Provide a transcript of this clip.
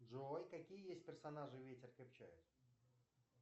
джой какие есть персонажи ветер крепчает